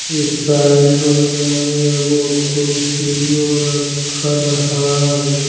ई saloon में एगो कुर्सियों रखल हई।